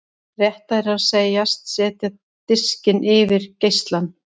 Réttara er að segjast setja diskinn yfir geislann.